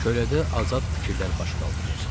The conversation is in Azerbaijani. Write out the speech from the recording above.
Kölədə azad fikirlər baş qaldırır.